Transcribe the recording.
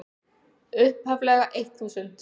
upphaflega eitt þúsund.